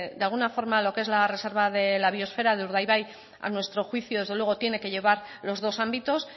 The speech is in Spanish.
de alguna forma lo que es la reserva de la biosfera de urdaibai a nuestro juicio desde luego tiene que llevar los dos ámbitos